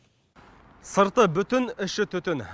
сырты бүтін іші түтін